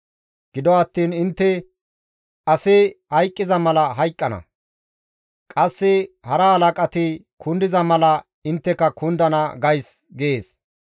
‹Gido attiin intte asi hayqqiza mala hayqqana; Qasse hara halaqati kundiza mala intteka kundana› gays» gees.